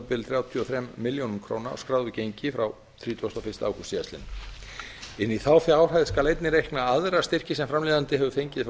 bil þrjátíu og þrjár milljónir króna á skráðu gengi frá þrítugasta og fyrsta ágúst síðastliðinn inn í þá fjárhæð skal einnig reikna aðra styrki sem framleiðandi hefur fengið frá